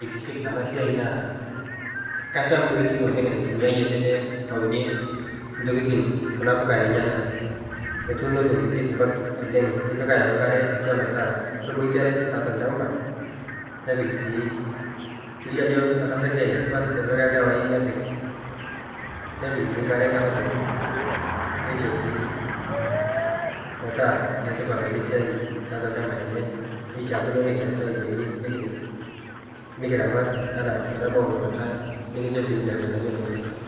Etiship tenaa siai naa kasham koitoi ooleng naitumiai ele lee aunie tokitin kuna puka enyena, etuno te koitoi supat oooleng, nitoki ayau nkare atua metaa keboitare tiatua lchamba nepik si, kelio ajo etaasa esiai etipat etipika lewa oyieu nepik si nkare kata pooki neisho si metaa netipat ena siai te kalo olchamba lenye kuna mataas aikoji nikipik nikiramat mpaka metabau ina kata nikicho si ninche irnganayio lenche.